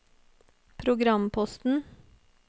programposten